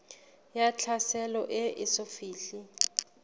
ya tlhaselo e eso fihle